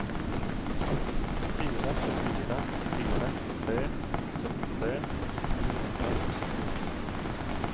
fire fire fire tre syttitre ni hundre og syttini